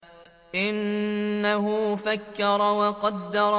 إِنَّهُ فَكَّرَ وَقَدَّرَ